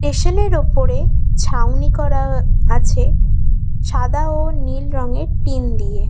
Station -এর ওপরে ছাউনি করা আছে সাদা ও নীল রঙের টিন দিয়ে।